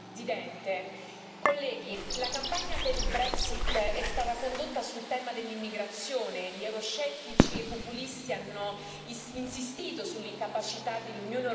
è stata condotta sul tema dell'immigrazione e gli euroscettici e i populisti hanno insistito sull'incapacità dell'Unione europea di affrontare con efficacia la crisi migratoria.